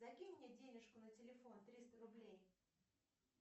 закинь мне денежку на телефон триста рублей